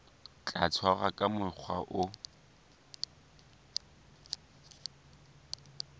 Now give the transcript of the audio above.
tla tshwarwa ka mokgwa o